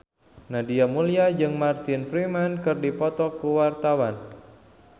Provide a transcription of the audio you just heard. Nadia Mulya jeung Martin Freeman keur dipoto ku wartawan